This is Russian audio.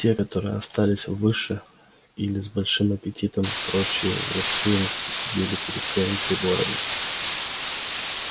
те которые остались выше или с большим аппетитом прочие в рассеянности сидели перед своим приборами